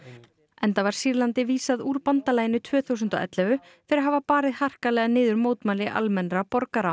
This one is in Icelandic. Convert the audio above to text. enda var Sýrlandi vísað úr bandalaginu tvö þúsund og ellefu fyrir að hafa barið harkalega niður mótmæli almennra borgara